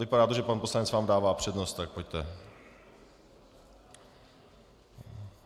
Vypadá to, že pan poslanec vám dává přednost, tak pojďte.